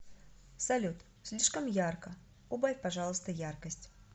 салют слишком ярко убавь пожалуйста яркость